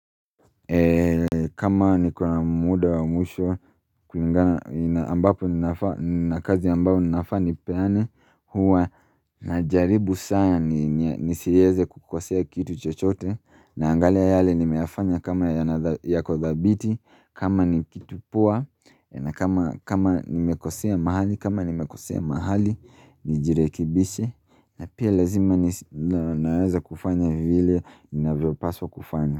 Eee kama niko na muda wa mwisho kulingana ambapo ninafaa na kazi ambayo ninafaa nipeane huwa najaribu sana nisieze kukosea kitu chochote naangalia yale nimeyafanya kama yako dhabiti kama ni kitu poa na kama nimekosea mahali kama nimekosea mahali nijirekibishe na pia lazima naweza kufanya vile navyo paswa kufanya.